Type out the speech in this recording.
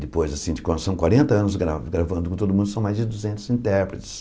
Depois assim de são quarenta anos gra gravando com todo mundo, são mais de duzentos intérpretes.